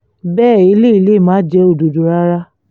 bẹ́ẹ̀ eléyìí lè má jẹ́ òdodo rárá